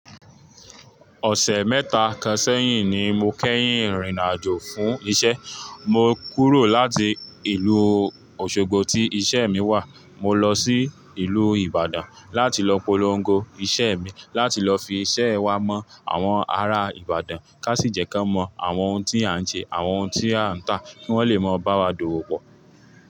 Ọ̀sẹ̀ mẹ́ta kan sẹ́yìn ni mo kẹ́yìn rìnrìn àjò fún iṣẹ́. Mo kúrò láti ìlú Òṣogbo tí iṣẹ́ mi wà. Mo lọ sí ìlú Ìbàdàn láti lọ polongo iṣẹ́ mi, láti lọ fi iṣẹ́ wa mọ́ àwọn ará Ìbàdàn, kán sì jẹ́ ki wọ́n mọ àwọn ohun tí à ń ṣe, àwọn ohun tí à ń tà, kí wọ́n lè mọ bá wa dòwò pọ̀